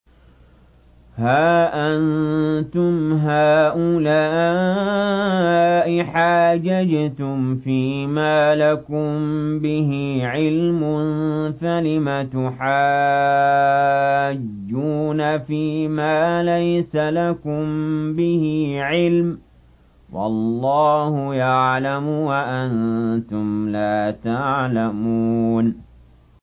هَا أَنتُمْ هَٰؤُلَاءِ حَاجَجْتُمْ فِيمَا لَكُم بِهِ عِلْمٌ فَلِمَ تُحَاجُّونَ فِيمَا لَيْسَ لَكُم بِهِ عِلْمٌ ۚ وَاللَّهُ يَعْلَمُ وَأَنتُمْ لَا تَعْلَمُونَ